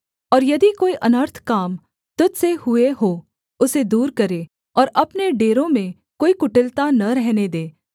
और यदि कोई अनर्थ काम तुझ से हुए हो उसे दूर करे और अपने डेरों में कोई कुटिलता न रहने दे